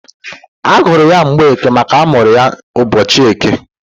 A gụrụ ya Mgbeke makana amụrụ ya ụbọchị eke.